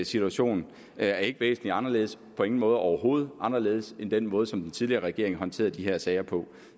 situation er ikke væsentlig anderledes på ingen måde overhovedet anderledes end den måde som den tidligere regering håndterede de her sager på